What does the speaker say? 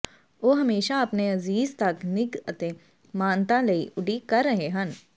ਉਹ ਹਮੇਸ਼ਾ ਆਪਣੇ ਅਜ਼ੀਜ਼ ਤੱਕ ਨਿੱਘ ਅਤੇ ਮਾਨਤਾ ਲਈ ਉਡੀਕ ਕਰ ਰਹੇ ਹਨ